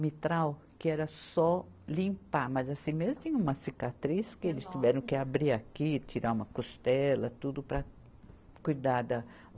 mitral que era só limpar, mas assim mesmo tinha uma cicatriz que eles tiveram que abrir aqui, tirar uma costela, tudo para cuidar da.